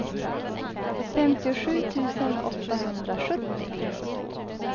femtiosju tusen åttahundrasjuttio